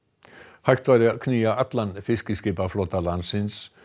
hægt væri að knýja allan fiskiskipaflota landsins